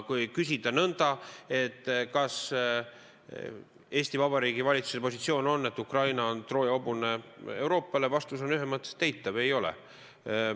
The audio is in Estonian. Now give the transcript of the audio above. Kui küsida nõnda, kas Eesti Vabariigi valitsuse positsioon on see, et Ukraina on Euroopale Trooja hobune, siis vastus on ühemõtteliselt eitav: ei ole.